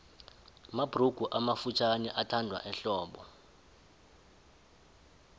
mabhurugu amafutjhaniathandwa ehlobo